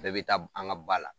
Bɛɛ be taa an ga ba la